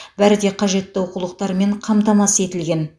бәрі де қажетті оқулықтармен қамтамасыз етілген